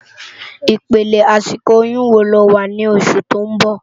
Ipélé àsikó óyùn wó ló má wá ni ósù tó n bò?